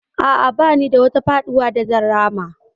A'a, ba ni da wata faɗuwa da zan rama.